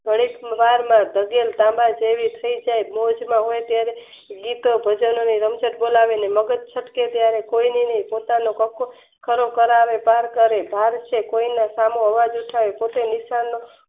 ઘડીક વારમાં ભગવાન કાકા જેવી થઈ જય મોજમાં હોય તો ગીતો જ ગગડે રમઝટ બોલાવે અને મગજ છટકે ત્યારે કોઈની નય પોતાને ખરો કરાવે અને તાણ કરે કોયના એના સમું અજાવ ઉઠાવે